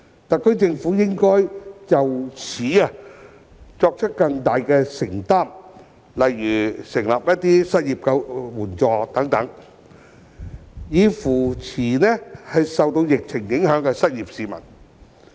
特區政府應就此作出更大承擔，例如設立失業援助金等，以扶持受疫情影響的失業市民。